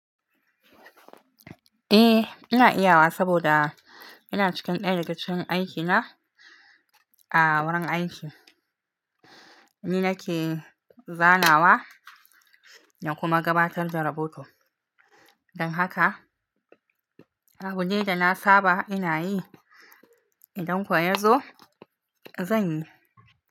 Eh, ina iya wa saboda ina cikin ɗaya daga cikin aiki na a wurin aiki. Ni nake zanawa da kuma gabatar da rahoto. Don haka abu ne da na saba ina yi. Idan kuwa ya zo zan yi.